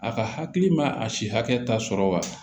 A ka hakili ma a si hakɛ ta sɔrɔ wa